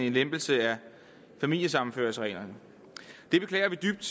en lempelse af familiesammenføringsreglerne det beklager vi dybt